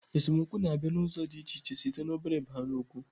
Esemokwu na-abịa n'ụzọ dị iche iche, site n'obere baa nnụkwu